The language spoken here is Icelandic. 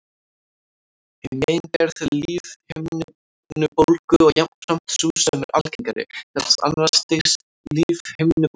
Hin megingerð lífhimnubólgu, og jafnframt sú sem er algengari, kallast annars stigs lífhimnubólga.